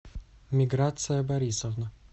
миграция борисовна